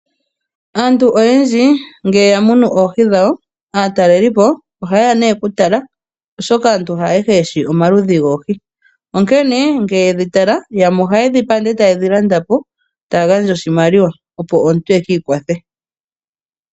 Aantu oyendji ngele yamunu oohi dhawo, aataleliipo ohaye ya nee kutala oshoka aantu haayehe yeshi omaludhi goohi, onkene shampa yedhi tala ohaye dhi hokwa e taye dhi landa po, e taya gandja oshimaliwa opo omuntu ekiikwathe.